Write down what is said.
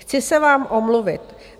Chci se vám omluvit.